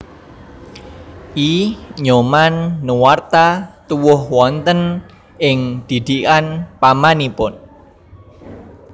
I Nyoman Nuarta tuwuh wonten ing didikan pamanipun